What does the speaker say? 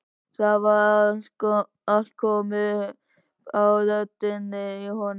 Það var allt komið upp á rönd inni í honum!